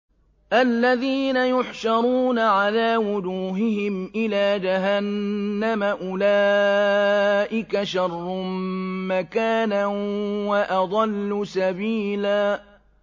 الَّذِينَ يُحْشَرُونَ عَلَىٰ وُجُوهِهِمْ إِلَىٰ جَهَنَّمَ أُولَٰئِكَ شَرٌّ مَّكَانًا وَأَضَلُّ سَبِيلًا